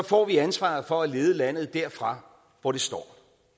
får vi ansvaret for at lede landet derfra hvor det står